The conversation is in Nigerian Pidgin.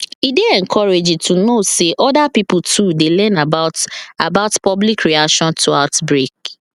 e dey encouraging to know say other pipo too dey learn about about public reaction to outbreak